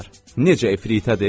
Necə efiritədir?